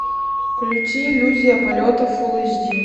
включи иллюзия полета фул эйч ди